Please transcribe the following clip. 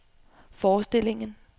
forestillingen